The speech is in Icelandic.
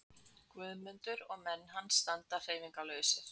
Guðmundur og menn hans standa hreyfingarlausir.